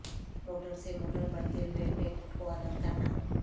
motor سے motor بڑھتے ہوئے بریکٹ کو الگ کرنا